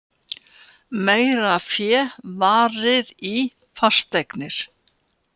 Meira fé varið í fasteignir